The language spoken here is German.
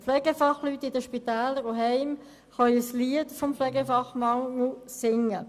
Die Pflegefachleute in den Spitälern und Heimen können ein Lied singen vom Mangel an Pflegefachpersonen.